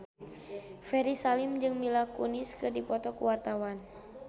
Ferry Salim jeung Mila Kunis keur dipoto ku wartawan